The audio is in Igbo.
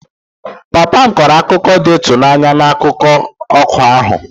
Papa m kọrọ akụkọ dị ịtụnanya n'akụkụ ọkụ ahụ